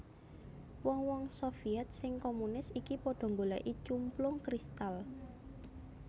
Wong wong Sovyèt sing komunis iki padha nggolèki cumplung kristal